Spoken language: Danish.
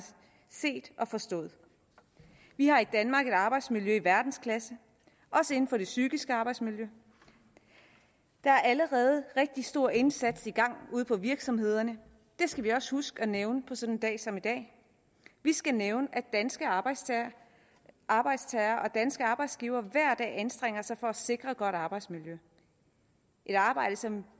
set og forstået vi har i danmark et arbejdsmiljø i verdensklasse også inden for det psykiske arbejdsmiljø der er allerede rigtig stor indsats i gang ude på virksomhederne det skal vi også huske at nævne på sådan en dag som i dag vi skal nævne at danske arbejdstagere arbejdstagere og danske arbejdsgivere hver dag anstrenger sig for at sikre et godt arbejdsmiljø et arbejde som